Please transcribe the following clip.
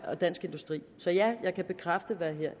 og dansk industri så ja jeg kan bekræfte hvad